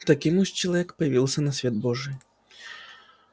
таким уж человек появился на свет божий